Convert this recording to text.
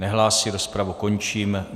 Nehlásí, rozpravu končím.